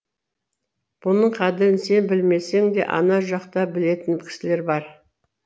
бұның қадірін сен білмесең де ана жақта білетін кісілер бар